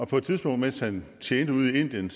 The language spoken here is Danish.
på et tidspunkt mens han tjente ude i indien